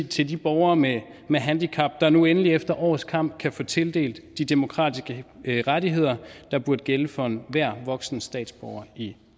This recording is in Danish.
til de borgere med med handicap der nu endelig efter års kamp kan få tildelt de demokratiske rettigheder der burde gælde for enhver voksen statsborger i